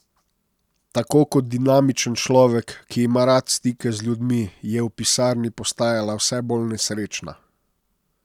Toda kot dinamičen človek, ki ima rad stike z ljudmi, je v pisarni postajala vse bolj nesrečna.